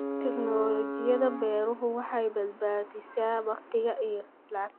Tignoolajiyada beeruhu waxay badbaadisaa waqti iyo lacag.